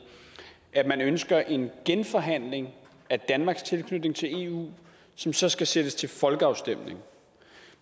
at man ønsker en genforhandling af danmarks tilknytning til eu som så skal sendes til folkeafstemning